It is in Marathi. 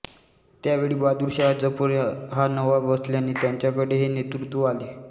त्यावेळी बहादूरशहा जफर हा नवाब असल्याने त्यांच्याकडे हे नेतृत्त्व आले